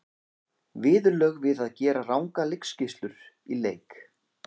Viðurlög við að gera rangar leikskýrslur í leik?